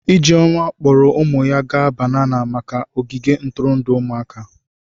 Ijeoma kpọọrọ ụmụ ya gaa banana maka ogige ntụrụndụ ụmụaka.